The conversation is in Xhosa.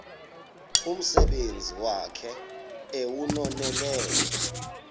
umsebenzi wakhe ewunonelele